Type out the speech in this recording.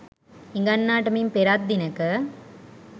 හිඟන්නාට මින් පෙරත් දිනෙක